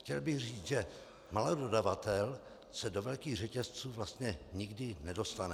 Chtěl bych říci, že malý dodavatel se do velkých řetězců vlastně nikdy nedostane.